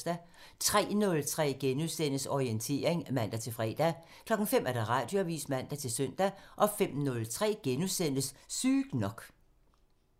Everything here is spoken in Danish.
03:03: Orientering *(man-fre) 05:00: Radioavisen (man-søn) 05:03: Sygt nok *(man)